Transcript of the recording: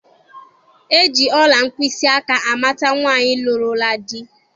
E ji ọla mkpịsịaka amata nwaanyị lụrụla di.